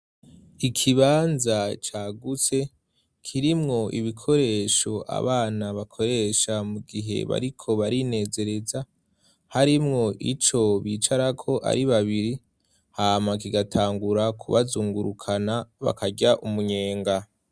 Ikibanza cagutse kirimwo ibikoresho abana bakoresha mu gihe bariko barinezereza harimwo ico bicarako ari babiri hama kigatangura kubazungurukana bakarya umunyenga.